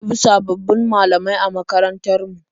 An ɗebi sabbabin malamai a makarantar mu.